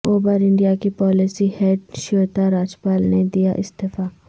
Uber India کی policy head Shweta Rajpal نے دیا استعفی